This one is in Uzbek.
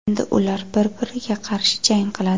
Endi ular bir-biriga qarshi jang qiladi.